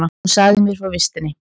Hún sagði mér frá vistinni.